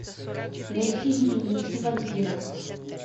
найти дневники вампира